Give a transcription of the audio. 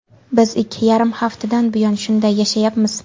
Biz ikki yarim haftadan buyon shunday yashayapmiz.